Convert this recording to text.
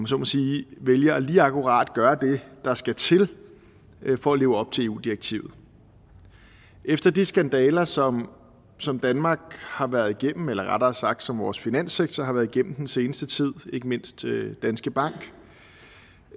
så må sige vælger lige akkurat at gøre det der skal til for at leve op til eu direktivet efter de skandaler som som danmark har været igennem eller rettere sagt som vores finanssektor har været igennem i den seneste tid ikke mindst danske bank